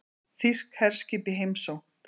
Þýsk herskip í heimsókn